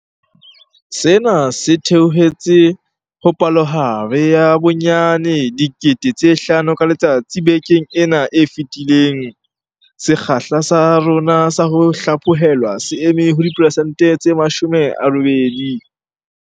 Sena se theohetse ho palohare ya bonyane 5 000 ka letsatsi bekeng ena e fetileng. Sekgahla sa rona sa ho hlaphohelwa se eme ho diperesente tse 80.